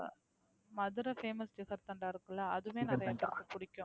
Madurai Famous jigarthanda இருக்குல்ல அதுமே எனக்கு பிடிக்கும்